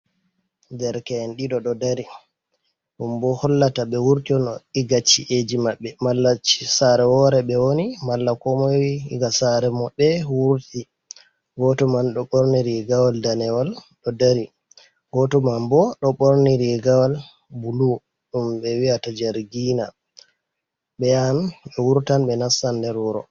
Derke’en ɗiɗo ɗo dari ɗum bo hollata be wurti no igachi’eji maɓɓe mallasare wore ɓe woni malla ko moi di ga sare mom be wurti goto man ɗo ɓorni rigawol danewol ɗo dari goto man bo ɗo ɓorni rigawol bulu ɗum be wi'ata jargina ɓe yahan ɓe wurtan ɓe nastan nder wuro.